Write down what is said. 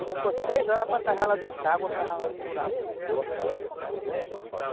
Quando fosse seis horas era para estar lá dentro d'água, cavava no buraco.